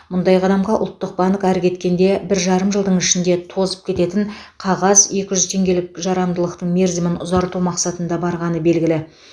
мұндай қадамға ұлттық банк ары кеткенде бір жарым жылдың ішінде тозып кететін қағаз екі жүз теңгеліктің жарамдылық мерзімін ұзарту мақсатында барғаны белгілі